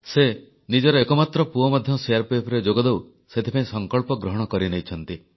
ସେ ନିଜର ଏକମାତ୍ର ପୁଅକୁ ମଧ୍ୟ ସିଆରପିଏଫରେ ଭର୍ତ୍ତି କରେଇବା ପାଇଁ ସଂକଳ୍ପ କରିନେଇଛନ୍ତି